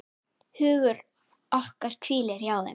Hugur okkar hvílir hjá þeim.